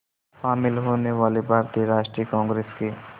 शामिल होने वाले भारतीय राष्ट्रीय कांग्रेस के